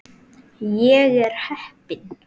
Ég er heppin.